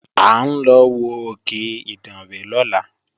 À ń lọ wo òkè Ìdànrè lọ́la